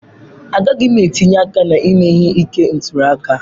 Agaghị m etinye aka na ime ihe ike ntuli aka.